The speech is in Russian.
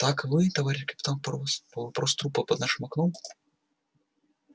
так вы товарищ капитан по вопросу трупа под нашим окном